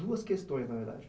Duas questões, na verdade.